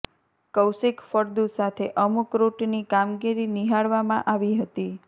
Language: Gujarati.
કૌશિક ફળદુ સાથે અમુક રૂટની કામગીરી નિહાળવામાં આવી હતી